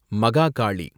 Mahakali